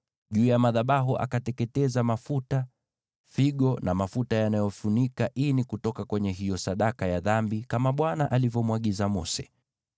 Juu ya madhabahu akateketeza mafuta, figo na mafuta yanayofunika ini kutoka kwenye hiyo sadaka ya dhambi, kama Bwana alivyomwagiza Mose.